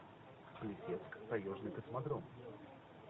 плесецк таежный космодром